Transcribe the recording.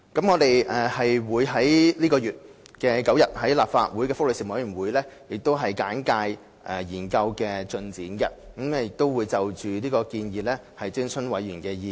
我們會在本月9日向立法會福利事務委員會簡介幼兒照顧服務研究的進展，並就建議徵詢委員的意見。